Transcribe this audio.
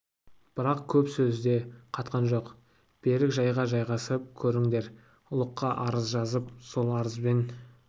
бірақ көп сөз де қатқан жоқ берік жайға жайғасып көріңдер ұлыққа арыз жазып сол арызбен